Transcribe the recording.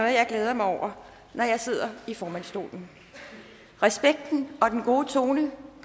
jeg glæder mig over når jeg sidder i formandsstolen respekten og den gode tone